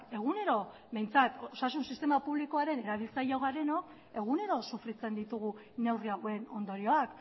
egunero behintzat osasun sistema publikoaren erabiltzaileak garenok egunero sufritzen ditugu neurri hauen ondorioak